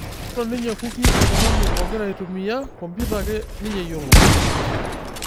Meyioli ninje kuki olntujng'ani ogira aitumia komputa ake ninje eyiolo.